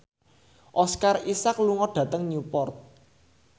Oscar Isaac lunga dhateng Newport